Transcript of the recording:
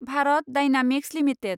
Bharat dynamics limited